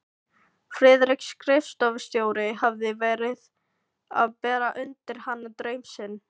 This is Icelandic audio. Friðrik skrifstofustjóri hafði verið að bera undir hana draum sinn.